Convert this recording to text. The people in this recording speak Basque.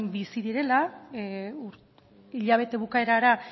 bizi direla hilabete bukaerara